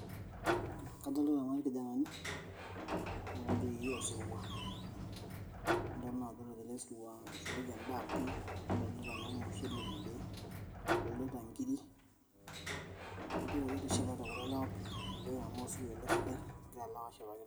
Kadolta naa irkijanani otii osirwa nilo na adol telesirwa, ishooki endaa pii adolta naa ormushele tende, adolta nkirik ,idol naa ajo etishipate kulo lewa pii amuu sukuku sidai engira ashipakino.